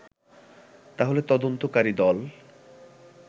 তাহলে তদন্তকারী দল